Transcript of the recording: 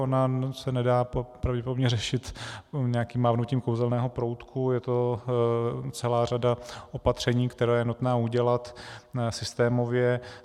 Ona se nedá pravděpodobně řešit nějakým mávnutím kouzelného proutku, je to celá řada opatření, která je nutné udělat systémově.